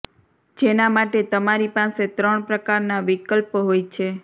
જેના માટે તમારી પાસે ત્રણ પ્રકારના વિકલ્પ હોય છે